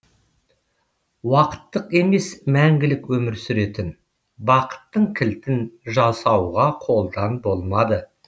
уақыттық емес мәңгілік өмір сүретін бақыттың кілтін жасауға қолдан болмады